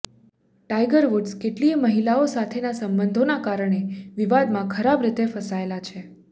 tiger Woods કેટલીયે મહિલાઓ સાથેના સંબંધોના કારણે વિવાદમાં ખરાબ રીતે ફસાયેલા છે